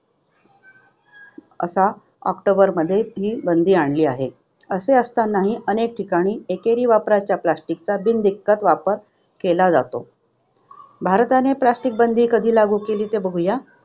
आता ऑक्टोबरमध्ये ही बंदी आणली आहे. असे असतानाही अनेक ठिकाणी एकेरी वापराच्या plastic चा बिनदिक्कत वापर केला जातो. भारताने plastic बंदी कधी लागू केली? ते बघूया